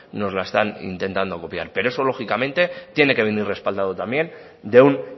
nos la están intentando copiar pero eso lógicamente tiene que venir respaldado también de un